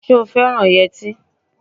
Ṣé o fẹ́ràn yẹtí?